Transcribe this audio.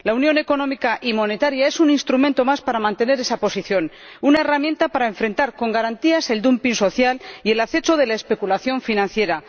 La Unión Económica y Monetaria es un instrumento más para mantener esa posición, una herramienta para enfrentar con garantías el dumping social y el acecho de la especulación financiera.